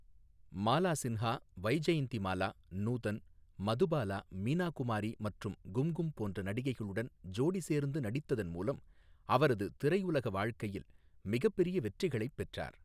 மாலா சின்ஹா, வைஜெயந்திமாலா, நூதன், மதுபாலா, மீனா குமாரி மற்றும் கும்கும் போன்ற நடிகைகளுடன் ஜோடி சேர்ந்து நடித்ததன் மூலம் அவரது திரையுலக வாழ்க்கையில் மிகப்பெரிய வெற்றிகளைப் பெற்றார்.